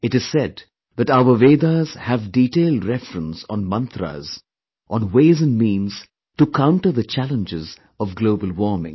It is said that our Vedas have detailed reference on Mantras, onways & means to counter the challenges of global warming